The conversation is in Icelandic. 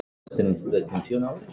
Ég treysti þér sagði hún.